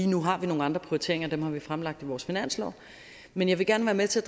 nu har vi nogle andre prioriteringer og dem har vi fremlagt i vores finanslov men jeg vil gerne være med til